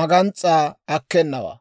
magans's'aa akkenawaa.